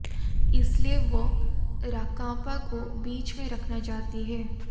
इसलिए वह राकांपा को बीच में रखना चाहती है